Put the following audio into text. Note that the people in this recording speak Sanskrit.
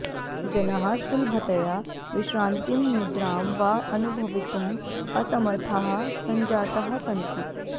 जनाः सुलभतया विश्रान्तिं निद्रां वा अनुभवितुम् असमर्थाः सञ्जाताः सन्ति